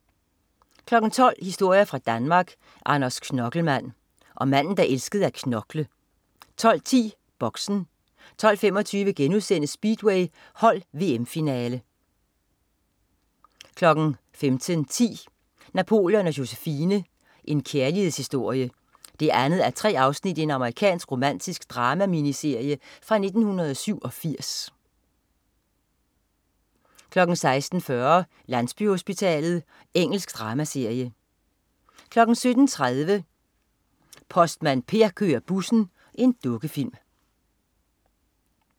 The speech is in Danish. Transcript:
12.00 Historier fra Danmark. Anders Knokkelmand. Om manden der elskede at knokle 12.10 Boxen 12.25 Speedway: Hold VM finale* 15.10 Napoleon og Josephine: En kærlighedshistorie 2:3. Amerikansk romantisk drama-miniserie fra 1987 16.40 Landsbyhospitalet. Engelsk dramaserie 17.30 Postmand Per kører bussen. Dukkefilm